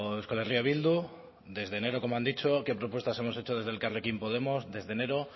euskal herria bildu desde enero como han dicho qué propuestas hemos hecho desde elkarrekin podemos desde enero